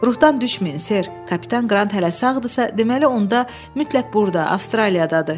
Ruhdan düşməyin, ser, kapitan Qrant hələ sağdırsa, deməli onda mütləq burda Avstraliyadadır,